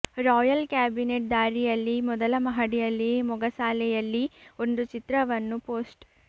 royal cabinet ದಾರಿಯಲ್ಲಿ ಮೊದಲ ಮಹಡಿಯಲ್ಲಿ ಮೊಗಸಾಲೆಯಲ್ಲಿ ಒಂದು ಚಿತ್ರವನ್ನು ಪೋಸ್ಟ್